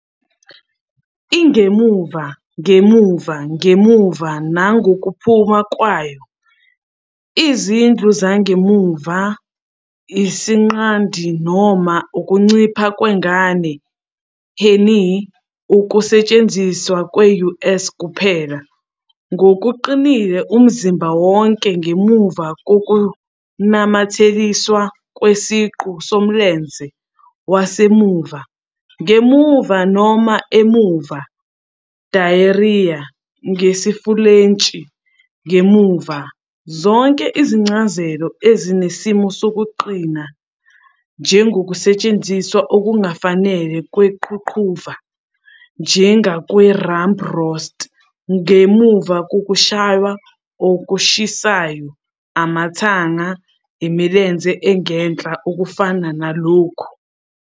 Ingemuva, ngemuva, ngemuva nangokuphuma kwayo, izindlu zangemuva, isinqandi noma ukuncipha kwengane "heinie", ukusetshenziswa kwe-US kuphela, ngokuqinile umzimba wonke ngemuva kokunamathiselwe kwesiqu somlenze wasemuva, ngemuva noma emuva, derrière, ngesiFulentshi "ngemuva", - zonke izincazelo ezinesimo sokuqina, njengokusetshenziswa okungafanele kweqhuqhuva, njengakwi 'rump roast', ngemuva kokushaywa 'okushisayo', amathanga, imilenze engenhla, okufana nalokhu.